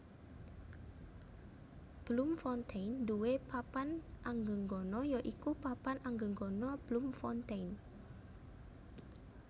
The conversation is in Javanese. Bloemfontein nduwé papan anggegana ya iku Papan Anggegana Bloemfontein